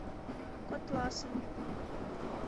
котласом